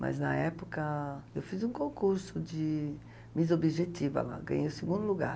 Mas na época eu fiz um concurso de Miss Objetiva lá, ganhei o segundo lugar.